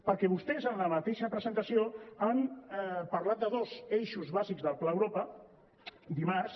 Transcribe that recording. perquè vostès en la mateixa presentació han parlat de dos eixos bàsics del pla europa dimarts